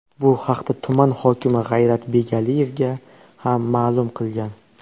Bu haqda tuman hokimi G‘ayrat Begaliyevga ham ma’lum qilgan.